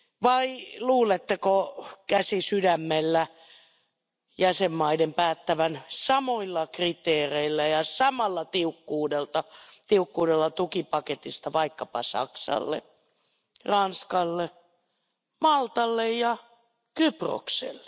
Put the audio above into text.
Vai luuletteko käsi sydämellä jäsenmaiden päättävän samoilla kriteereillä ja samalla tiukkuudella tukipaketista vaikkapa Saksalle, Ranskalle, Maltalle ja Kyprokselle?